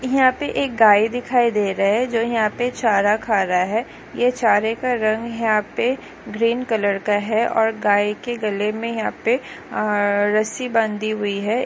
यहाँ पे एक गाय दिखाई दे रही है जो यहाँ पे चारा खा रहा है ऐ चारे का रंग यहा पे ग्रीन कलर का है और गाय के गले मे यहाँ पे रसी बंदी हुई है।